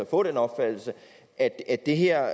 få den opfattelse at at det her